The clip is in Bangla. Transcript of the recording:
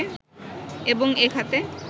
এবং এ খাতে